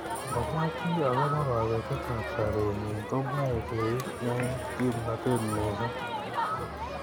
Ngomwa chi akobo kabetet ab sabet nenyi komeche keib eng kimnotet missing.